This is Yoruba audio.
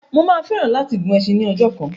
Mà á fẹ́ràn láti gun ẹsin ní ọjọ́ kan.